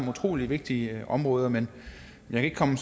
utrolig vigtige områder men jeg kan